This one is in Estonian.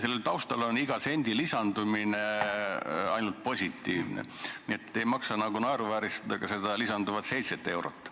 Selle taustal on iga sendi lisandumine ainult positiivne, nii et ei maksa naeruvääristada ka seda lisanduvat 7 eurot.